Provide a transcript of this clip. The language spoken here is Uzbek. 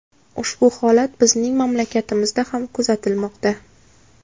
Ushbu holat bizning mamlakatimizda ham kuzatilmoqda.